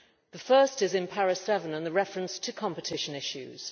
The first is in paragraph 7 and the reference to competition issues.